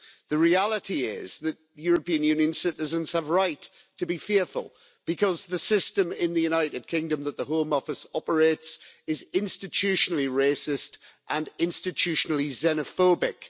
The reality is that European Union citizens have right to be fearful because the system in the United Kingdom that the Home Office operates is institutionally racist and institutionally xenophobic.